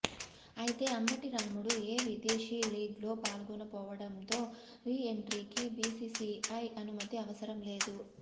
అయితే అంబటి రాయుడు ఏ విదేశీ లీగ్ల్లో పాల్గొనకపోవడంతో రీఎంట్రీకి బీసీసీఐ అనుమతి అవసరం లేదు